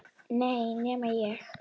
Nei, ekki enn.